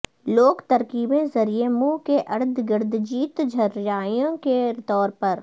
لوک ترکیبیں ذریعے منہ کے ارد گرد جیت جھرریاں کے طور پر